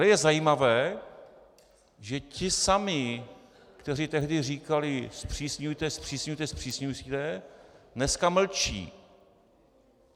Ale je zajímavé, že ti samí, kteří tehdy říkali "zpřísňujte, zpřísňujte, zpřísňujte" dneska mlčí.